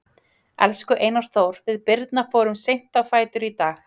Elsku Einar Þór, við Birna fórum seint á fætur í dag.